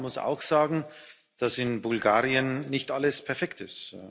Ja, man muss auch sagen, dass in Bulgarien nicht alles perfekt ist.